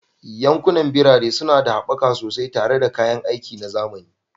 Yankunan birane suna da haɓaka sosai tare da kayan aiki na zamani